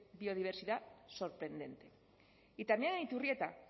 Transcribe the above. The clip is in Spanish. biodiversidad sorprendente y también en iturrieta